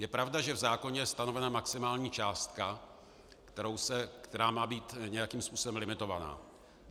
Je pravda, že v zákoně je stanovena maximální částka, která má být nějakým způsobem limitovaná.